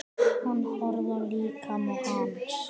Hún horfði á líkama hans.